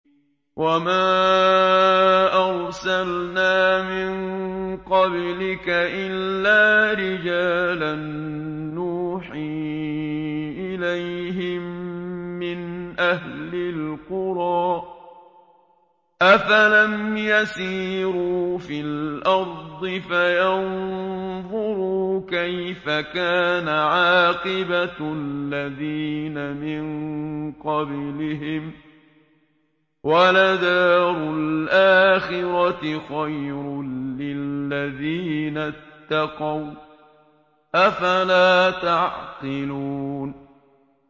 وَمَا أَرْسَلْنَا مِن قَبْلِكَ إِلَّا رِجَالًا نُّوحِي إِلَيْهِم مِّنْ أَهْلِ الْقُرَىٰ ۗ أَفَلَمْ يَسِيرُوا فِي الْأَرْضِ فَيَنظُرُوا كَيْفَ كَانَ عَاقِبَةُ الَّذِينَ مِن قَبْلِهِمْ ۗ وَلَدَارُ الْآخِرَةِ خَيْرٌ لِّلَّذِينَ اتَّقَوْا ۗ أَفَلَا تَعْقِلُونَ